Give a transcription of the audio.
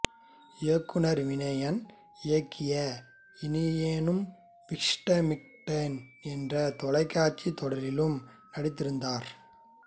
இயக்குநர் வினயன் இயக்கிய இனியோனு விஷ்ரமிக்கட்டே என்ற தொலைக்காட்சித் தொடரிலும் நடித்திருந்தார்